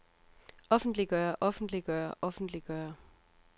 offentliggøre offentliggøre offentliggøre